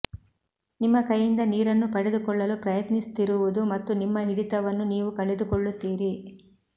ನಿಮ್ಮ ಕೈಯಿಂದ ನೀರನ್ನು ಪಡೆದುಕೊಳ್ಳಲು ಪ್ರಯತ್ನಿಸುತ್ತಿರುವುದು ಮತ್ತು ನಿಮ್ಮ ಹಿಡಿತವನ್ನು ನೀವು ಕಳೆದುಕೊಳ್ಳುತ್ತೀರಿ